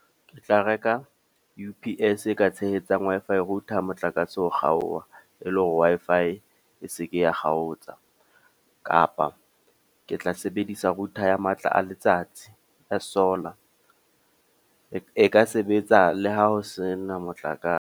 Ke tla reka U_P_S e ka tshehetsang Wi-Fi router motlakase o kgaoha. E le hore Wi-Fi e seke ya kgaotsa. Kapa ke tla sebedisa router ya matla a letsatsi ya solar. E ka sebetsa le ha ho sena motlakase.